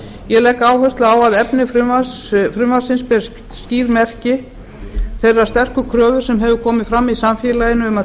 ég legg áherslu á að efni frumvarpsins ber skýr merki þeirrar sterku kröfu sem hefur komið fram í samfélaginu um að þjóðin